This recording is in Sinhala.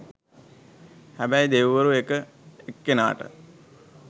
හැබැයි දෙවිවරු එක එක්කෙනාට